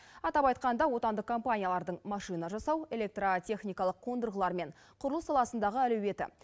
атап айтқанда отандық компаниялардың машина жасау электротехникалық қондырғылар мен құрылыс саласындағы әлеуеті